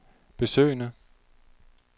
besøgende